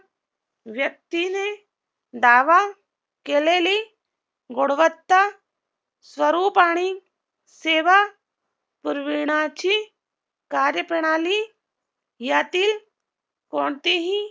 व्यक्तीने दावा केलेली गुणवत्ता स्वरुपानी सेवा पुरविण्याची कार्यप्रणाली यातील कोणतेही